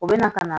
U bɛ na ka na